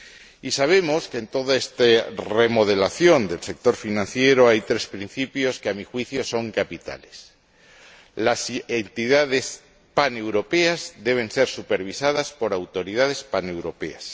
Y sabemos que en toda esta remodelación del sector financiero hay tres principios que, a mi juicio, son capitales las entidades paneuropeas deben ser supervisadas por autoridades paneuropeas